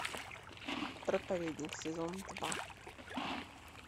проповедник сезон два